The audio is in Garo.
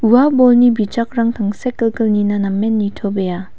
ua bolni bijakrang tangsekgilgil nina namen nitobea.